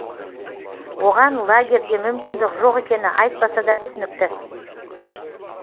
оған лагерде мүмкіндік жоқ екені айтпаса да түсінікті